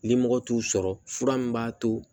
Limɔgɔ t'u sɔrɔ fura min b'a to